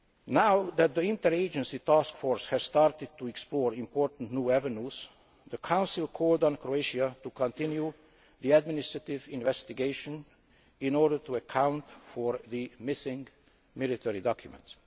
Now that the Interagency Task Force has started to explore important new avenues, the Council has called on Croatia to continue the administrative investigation in order to account for the missing military documents.